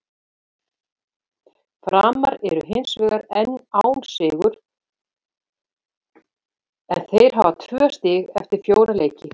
Framarar eru hinsvegar enn án sigurs en þeir hafa tvö stig eftir fjóra leiki.